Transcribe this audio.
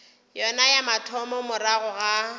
yona ya mathomo morago ga